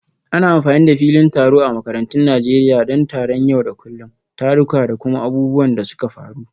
Ana amfani da filin taro a makarantun Najeriya don taron yau da kullun, taruka, da kuma abubuwan da suka faru.